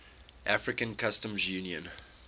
african customs union